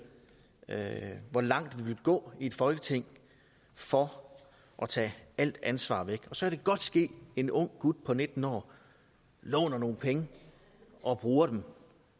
med hvor langt vi vil gå i et folketing for at tage alt ansvar væk og så kan det godt ske at en ung gut på nitten år låner nogle penge og bruger dem